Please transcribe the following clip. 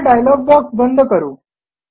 हा dialog box बंद करू